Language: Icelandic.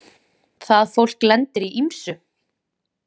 Það fólk lendir í ýmsu.